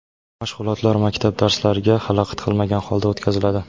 Mashg‘ulotlar maktab darslariga xalaqit qilmagan holda o‘tkaziladi.